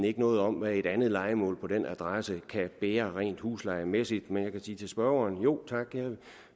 ikke noget om hvad et andet lejemål på den adresse kan bære rent huslejemæssigt men jeg kan sige til spørgeren jo tak jeg og